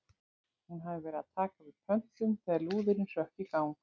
Hún hafði verið að taka við pöntun þegar lúðurinn hrökk í gang.